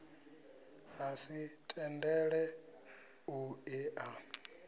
ha si tendele u ea